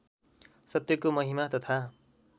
सत्यको महिमा तथा